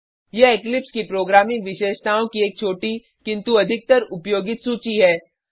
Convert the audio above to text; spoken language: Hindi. यह इक्लिप्स की प्रोग्रामिंग विशेषताओं की एक छोटी किंतु अधिकतर उपयोगित सूची है